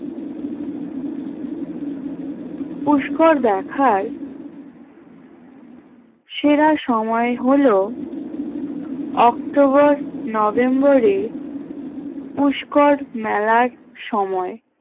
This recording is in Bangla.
পুষ্কর দেখার সেরা সময় হলো October November পুষ্কর মেলার সময়